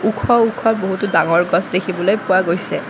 ওখ ওখ বহুতো ডঙৰ গছ দেখিবলৈ পোৱা গৈছে।